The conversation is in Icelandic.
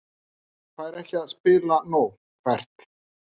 Fær ekki að spila nóg Hvert?